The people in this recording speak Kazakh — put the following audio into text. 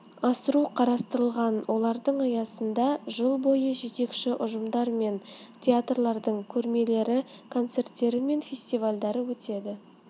асыру қарастырылған олардың аясында жыл бойы жетекші ұжымдар мен театрлардың көрмелері концерттері мен фестивальдары өтеді